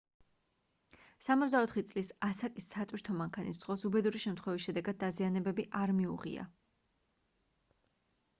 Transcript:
64 წლის ასაკის სატვირთო მანქანის მძღოლს უბედური შემთხვევის შედეგად დაზიანებები არ მიუღია